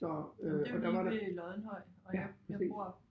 Så øh og der var der ja præcis